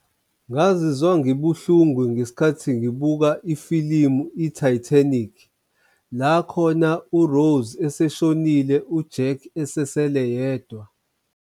Ngazizwa ngibuhlungu ngesikhathi ngibuka ifilimu i-Titanic, la khona u-Rose eseshonile u-Jack esesele yedwa.